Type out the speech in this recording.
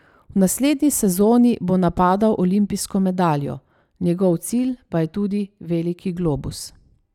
V naslednji sezoni bo napadal olimpijsko medaljo, njegov cilj pa je tudi veliki globus.